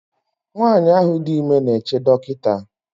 nwanyị ahụ dị ime na-eche dọkịta